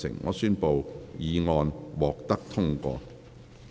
我宣布議案獲得通過。